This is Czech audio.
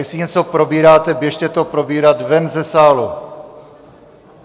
Jestli něco probíráte, běžte to probírat ven ze sálu.